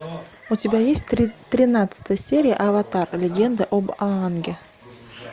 у тебя есть тринадцатая серия аватар легенда об аанге